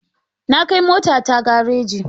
Na kai motata gareji.